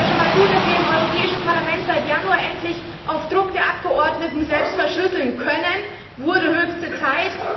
Ich finde es ja schon einmal gut, dass wir im Europäischen Parlament seit Januar endlich auf Druck der Abgeordneten selbst verschlüsseln können, das wurde höchste Zeit!